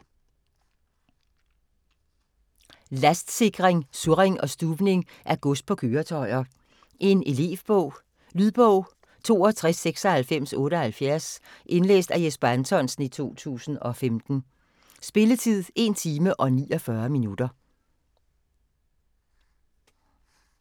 Lastsikring, surring og stuvning af gods på køretøjer Elevbog. Lydbog 629678 Indlæst af Jesper Anthonsen, 2015. Spilletid: 1 time, 49 minutter.